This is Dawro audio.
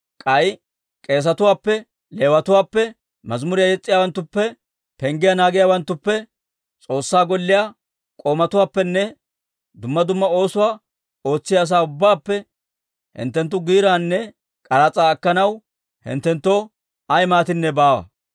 K'ay k'eesetuwaappe, Leewatuwaappe, mazimuriyaa yes's'iyaawanttuppe, penggiyaa naagiyaawanttuppe, S'oossaa Golliyaa k'oomatuwaappenne dumma dumma oosuwaa ootsiyaa asaa ubbaappe hinttenttu giiraanne k'aras'aa akkanaw hinttenttoo ay maatinne baawa.